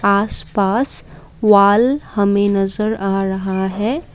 आस पास वॉल हमें नजर आ रहा है।